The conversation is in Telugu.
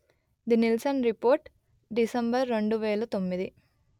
ది నిల్సన్ రిపోర్ట్ డిసెంబర్ రెండు వెలు తొమ్మిది